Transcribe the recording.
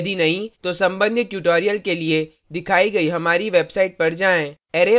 यदि नहीं तो संबंधित tutorials के लिए दिखाइ गई हमारी website पर जाएँ